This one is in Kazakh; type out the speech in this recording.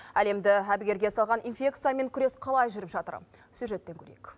әлемді әбігерге салған инфекциямен күрес қалай жүріп жатыр сюжеттен көрейік